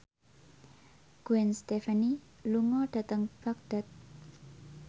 Gwen Stefani lunga dhateng Baghdad